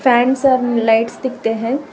Fans और lights दिखते हैं।